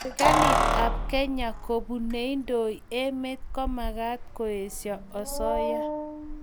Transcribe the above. serikalit ab kenya kobun neindoi emet ko magat koesho asoya